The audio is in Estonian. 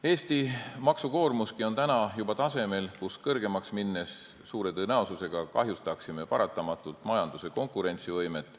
Eesti maksukoormuski on juba tasemel, et selle suuremaks minnes me suure tõenäosusega kahjustaksime paratamatult majanduse konkurentsivõimet.